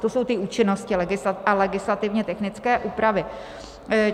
To jsou ty účinnosti a legislativně technické úpravy.